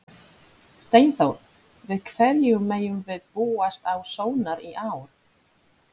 Steinþór, við hverju megum við búast á Sónar í ár?